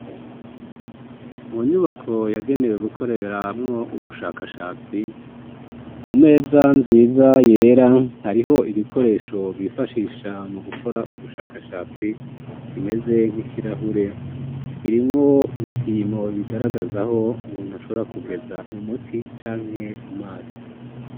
mu nyubako yagenewe gukoreramo ubushakashatsi ku meza nziza yera hariho igikoresho bifashisha mu gukora ubushakashatsi kimeze nk'ikirahure hirimwo ibipimo bigaragazaho umuntu ashobora kugeza umuti canke amazi